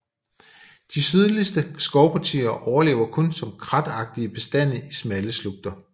De sydligste skovpartier overlever kun som kratagtige bestande i smalle slugter